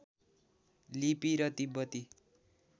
लिपि र तिब्बती